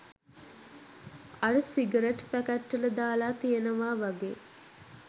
අර cigarette packet වල දාල තියෙනවා වගේ.